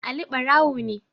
Ali barawo ne